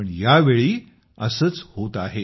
पण यावेळी असंच होत आहे